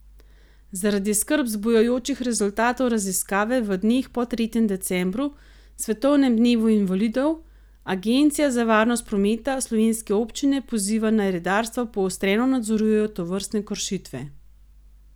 Zaradi skrb zbujajočih rezultatov raziskave v dneh po tretjem decembru, svetovnem dnevu invalidov, agencija za varnost prometa slovenske občine poziva, naj redarstva poostreno nadzorujejo tovrstne kršitve.